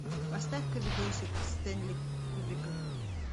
поставь ка видосик стэнли кубрика